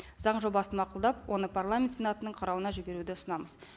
заң жобасын мақұлдап оны парламент сенатының қарауына жіберуді ұсынамыз